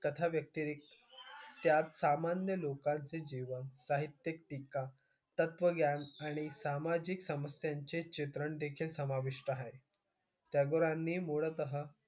कथा व्यक्तिरेखा त्या सामान्य लोकांचे जीवन, साहित्यिक टीका, तत्त्वज्ञान आणि सामाजिक समस्यांचे चित्रणदेखील समाविष्ट आहे. टागोरांनी मूलतः,